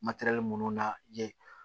minnu na ye